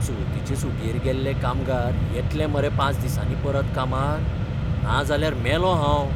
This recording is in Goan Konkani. चवथीचे सुटयेर गेल्ले कामगार येतले मरे पांच दिसांनी परत कामार? नाजाल्यार मेलों हांव.